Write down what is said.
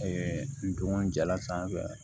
ntom jɛla sanfɛ